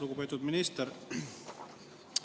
Lugupeetud minister!